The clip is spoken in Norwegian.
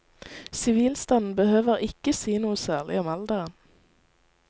Sivilstanden behøver ikke si noe særlig om alderen.